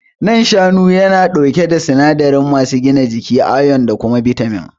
Nan shanu yana ɗauke da sinadari masu gina jiki, ayon da kuma bitamin.